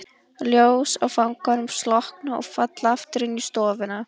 Ljós á fanganum slokkna og falla aftur inn í stofuna.